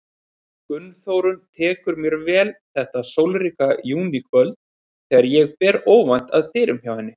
Gunnþórunn tekur mér vel þetta sólríka júníkvöld þegar ég ber óvænt að dyrum hjá henni.